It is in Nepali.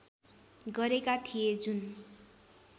गरेका थिए जुन